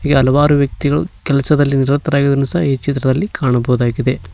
ಈ ಹಲವರು ವ್ಯಕ್ತಿಗಳು ಕೆಲಸದಲ್ಲಿ ನಿರತರಾಗಿರುವುದನ್ನು ಸಹ ಈ ಚಿತ್ರದಲ್ಲಿ ಕಾಣಬಹುದಾಗಿದೆ.